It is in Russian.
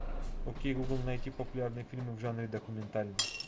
окей гугл найти популярные фильмы в жанре документальный